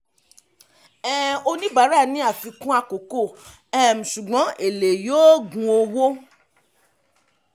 um oníbàárà ní àfikún àkókò um ṣùgbọ́n èlé yóò gun owó.